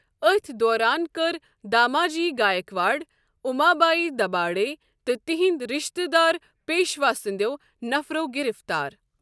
أتھۍ دوران كر داماجی گایکواڈ، امابایی دباڈے تہٕ تِہنٛدۍ رشتہٕ دار پیشوا سنٛدٮ۪و نفرو گِرِفتار۔